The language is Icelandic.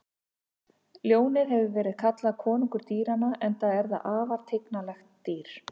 Ljónið hefur verið kallað konungur dýranna enda er það afar tignarlegt dýr.